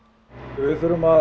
við þurfum að